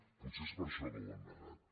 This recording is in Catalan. potser és per això que ho han negat